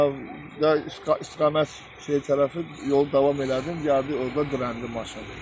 Hə istiqamət şey tərəfi yolu davam elədim, gəldi orda dirəndi maşın.